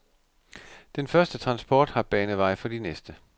Den første transport har banet vej for de næste.